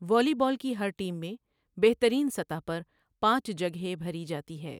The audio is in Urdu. والی بال کی ہر ٹیم میں بہتریٖن سطح پرپانچ جگہے بھری جاتی ہے۔